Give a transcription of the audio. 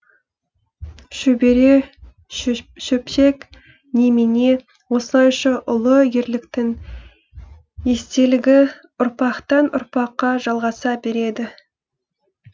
шөбере шөпшек немене осылайша ұлы ерліктің естелігі ұрпақтан ұрпаққа жалғаса береді